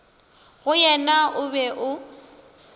go yena o be o